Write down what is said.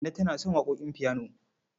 Kande tana son waƙoƙin fiyano.